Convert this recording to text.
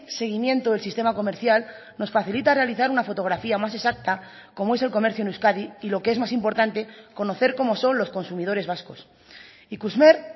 seguimiento del sistema comercial nos facilita realizar una fotografía más exacta como es el comercio en euskadi y lo que es más importante conocer cómo son los consumidores vascos ikusmer